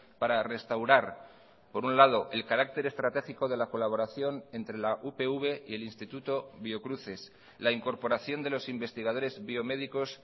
para restaurar por un lado el carácter estratégico de la colaboración entre la upv y el instituto biocruces la incorporación de los investigadores biomédicos